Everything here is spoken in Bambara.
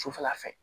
Sufɛla fɛ